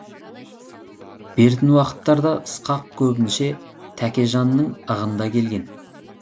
бертін уақыттарда ысқақ көбінше тәкежанның ығында келген